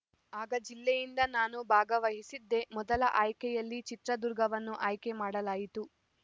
ಆಗ ಜಿಲ್ಲೆಯಿಂದ ನಾನು ಭಾಗವಹಿಸಿದ್ದೆ ಮೊದಲ ಆಯ್ಕೆಯಲ್ಲಿ ಚಿತ್ರದುರ್ಗವನ್ನು ಆಯ್ಕೆಮಾಡಲಾಯಿತು